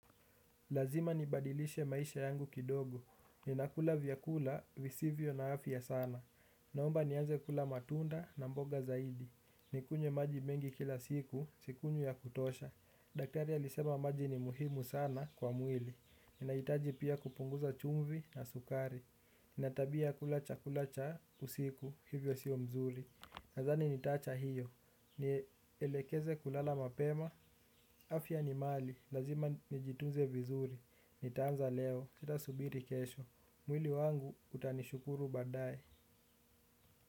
Lazima nibadilishe maisha yangu kidogo. Ninakula vyakula, visivyo na afya sana. Naomba nianze kula matunda na mboga zaidi. Nikunye maji mengi kila siku, sikunywi ya kutosha. Daktari alisema maji ni muhimu sana kwa mwili. Ninaitaji pia kupunguza chumvi na sukari. Nina tabia kulacha kula cha usiku, hivyo siyo mzuri. Nadhani nitacha hiyo. Ni elekeze kulala mapema, afya ni mali. Lazima nijitunze vizuri. Nitaanza leo, sita subiri kesho. Mwili wangu utanishukuru badae.